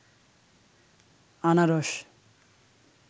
আনারস